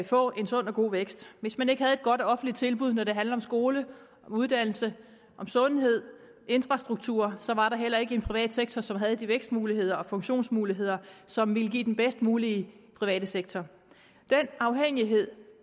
få en sund og god vækst hvis man ikke havde et godt offentligt tilbud når det handler om skole uddannelse sundhed og infrastruktur så var der heller ikke en privat sektor som havde de vækstmuligheder og funktionsmuligheder som ville give den bedst mulige private sektor den afhængighed